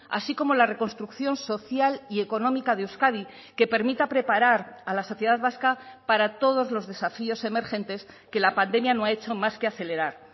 así como la reconstrucción social y económica de euskadi que permita preparar a la sociedad vasca para todos los desafíos emergentes que la pandemia no ha hecho más que acelerar